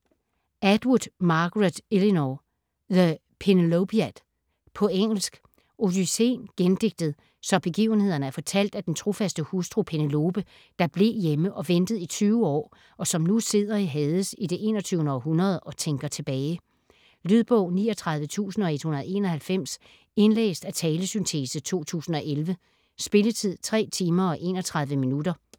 Atwood, Margaret Eleanor: The Penelopiad På engelsk. Odysséen gendigtet, så begivenhederne er fortalt af den trofaste hustru Penelope, der blev hjemme og ventede i 20 år, og som nu sidder i Hades i det 21. århundrede og tænker tilbage. Lydbog 39191 Indlæst af talesyntese, 2011. Spilletid: 3 timer, 31 minutter.